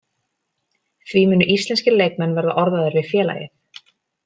Því munu íslenskir leikmenn verða orðaðir við félagið.